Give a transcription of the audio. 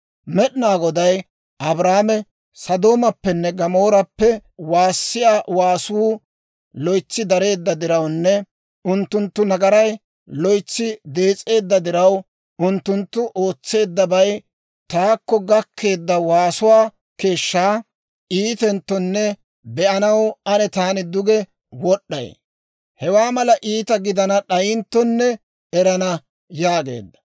Med'inaa Goday Abrahaame, «Sodoomappenne Gamoorappe waassiyaa waasuu loytsi dareedda dirawunne unttunttu nagaray loytsi dees'eedda diraw, unttunttu ootseeddabay taakko gakkeedda waasuwaa keeshshaa iitenttonne be'anaw ane taani duge wod'd'ay; hewaa mala iita gidana d'ayinttonne erana» yaageedda.